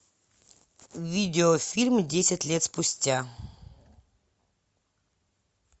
видеофильм десять лет спустя